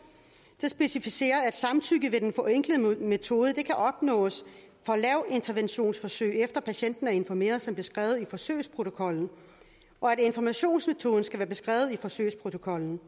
specificeres det at samtykke ved den forenklede metode kan opnås for lavinterventionsforsøg efter at patienten er informeret som beskrevet i forsøgsprotokollen og at informationsmetoden skal være beskrevet i forsøgsprotokollen